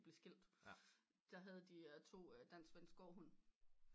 Blev skilt der havde de to dansk svensk gårdhund